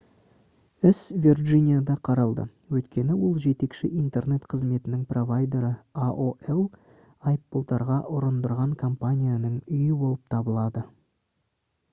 іс вирджинияда қаралды өйткені ол жетекші интернет қызметінің провайдері aol айыппұлдарға ұрындырған компанияның үйі болып табылады